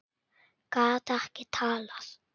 Gat ekki talað.